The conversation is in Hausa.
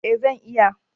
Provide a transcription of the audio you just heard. Ee, zan iya